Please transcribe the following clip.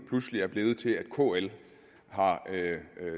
pludselig er blevet til at kl har